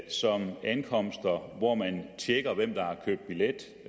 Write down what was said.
som ankomster hvor man tjekker hvem der har købt billet